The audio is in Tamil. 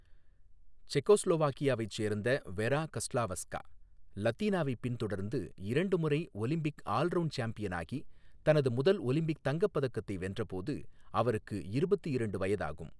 செக்கோஸ்லோவாக்கியாவைச் சேர்ந்த வெரா கஸ்லாவஸ்கா, லத்தீனாவைப் பின்தொடர்ந்து இரண்டு முறை ஒலிம்பிக் ஆல் அரவுண்ட் சாம்பியனாகி, தனது முதல் ஒலிம்பிக் தங்கப் பதக்கத்தை வென்றபோது அவருக்கு இருபத்து இரண்டு வயதாகும்.